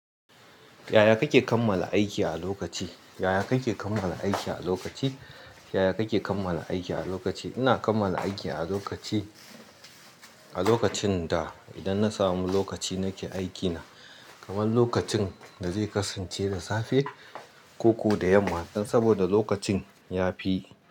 Yaya kake kammala aiki a lokaci? Yaya kake kammala aiki a lokaci? Yaya kake kammala aiki a lokaci? Ina kammala aiki a lokaci, a lokacin da idan na samu lokaci nake aikina, kamar lokacin da zai kasance da safe, koko da yamma saboda lokacin ya fi.